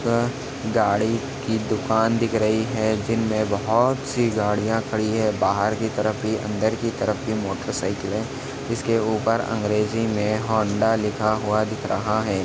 यह गाड़ी की दुकान दिख रही है जिनमे बहोत सी गड़िया खड़ी है बाहर की तरफ भी अंदर की तरफ भी मोटर साइकल है जिसके ऊपर अंग्रेजी मे होंडा लिखा हुआ दिख रहा है।